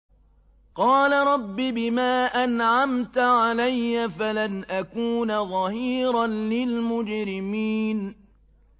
قَالَ رَبِّ بِمَا أَنْعَمْتَ عَلَيَّ فَلَنْ أَكُونَ ظَهِيرًا لِّلْمُجْرِمِينَ